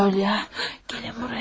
Qalya, gəlin buraya.